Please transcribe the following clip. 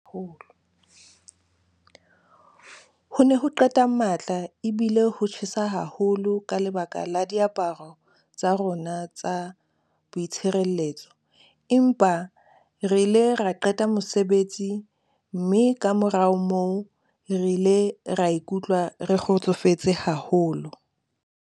"Ho ne ho qeta matla ebile ho tjhesa haholo ka lebaka la diaparo tsa rona tsa boitshireletso, empa re ile ra qeta mosebetsi mme kamora moo re ile ra ikutlwa re kgotsofetse haholo."